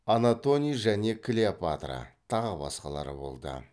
антоний және клеопатра тағы басқалары болды